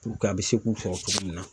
a be se k'u sɔrɔ cogo min na.